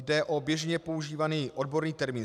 Jde o běžně používaný odborný termín.